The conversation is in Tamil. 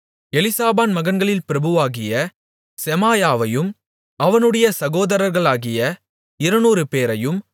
எலிசாபான் மகன்களில் பிரபுவாகிய செமாயாவையும் அவனுடைய சகோதரர்களாகிய இருநூறுபேரையும்